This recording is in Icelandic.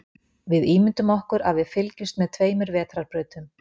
Við ímyndum okkur að við fylgjumst með tveimur vetrarbrautum.